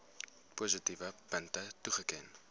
positiewe punte toeken